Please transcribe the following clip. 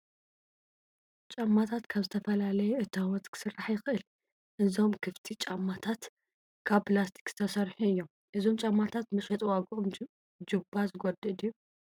ጫማታት ካብ ዝተፈላለየ እታወት ክስራሕ ይኽእል፡፡ እዞም ክፍቲ ጫማታት ካብ ፕላስቲክ ዝተሰርሑ እዮም፡፡ እዞም ጫማታት መሸጢ ዋግኦም ጁባ ዝጐድእ ድዩ?